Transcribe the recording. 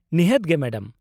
ᱱᱤᱦᱟᱹᱛ ᱜᱮ ᱢᱮᱰᱟᱢ ᱾